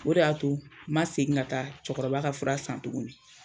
O de y'a to n ma segin ka taa cɛkɔrɔba ka fura san tuguni.